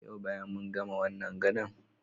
Yau bayan mun gama wannan gadon.